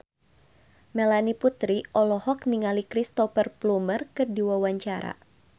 Melanie Putri olohok ningali Cristhoper Plumer keur diwawancara